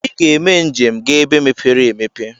Iga eme njem ga ebe mepere emepe!